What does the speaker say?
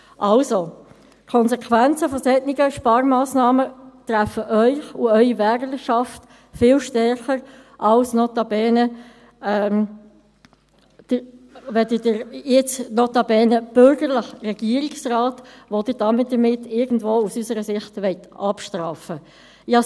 Die Konsequenzen solcher Sparmassnahmen treffen Sie und Ihre Wählerschaft viel stärker als den notabene bürgerlichen Regierungsrat, den Sie aus unserer Sicht damit abstrafen wollen.